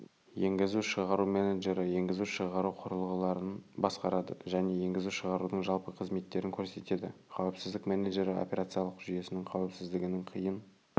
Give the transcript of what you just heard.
енгізу-шығару менеджері енгізу-шығару құрылғыларын басқарады және енгізу-шығарудың жалпы қызметтерін көрсетеді қауіпсіздік менеджері операциялық жүйесінің қаупісіздігінің қиын